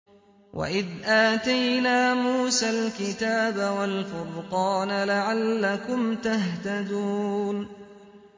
وَإِذْ آتَيْنَا مُوسَى الْكِتَابَ وَالْفُرْقَانَ لَعَلَّكُمْ تَهْتَدُونَ